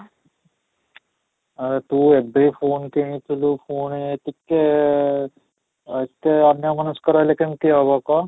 ହଁ, ତ ଏବେ phone କିଣି ଥିଲୁ, ପୁଣି ଟିକେ ଆଃ ଏତେ ଅନ୍ୟ ମନସ୍କ ରହିଲେ କେମିତି ହେବ କହ?